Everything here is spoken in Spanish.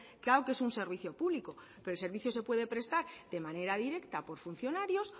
claro que es un servicio público pero el servicio se puede prestar de manera directa por funcionarios